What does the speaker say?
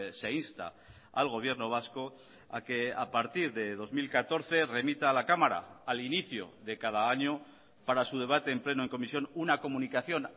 se insta al gobierno vasco a que a partir de dos mil catorce remita a la cámara al inicio de cada año para su debate en pleno o en comisión una comunicación